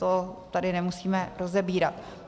To tady nemusíme rozebírat.